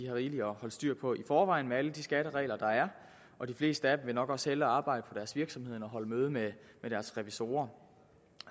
rigeligt at holde styr på i forvejen med alle de skatteregler der er og de fleste af dem vil nok også hellere arbejde på deres virksomheder end holde møde med deres revisorer